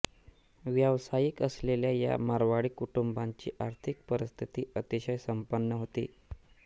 व्यावसायिक असलेल्या या मारवाडी कुटुंबाची आर्थिक परिस्थिती अतिशय संपन्न होती